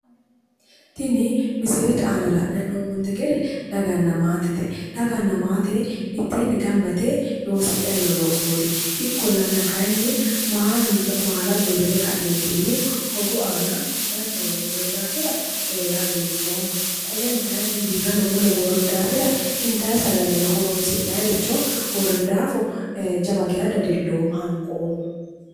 Tini misilete aana la'nayi hee'noommonte gede daganna maatete. Daganna maate mitteenni gamba yite loosidhayi no loosooti ikkollana kayinni maala gorrine ka'neentinni hogu aana danchawa worroye daafira hagiidhoomma. Qoleni kayinni birrano mule worroyi daafira intayi sagalenna horoonsi'nayericho worroyi daafo jawa gee dadilloomma hanqoomma.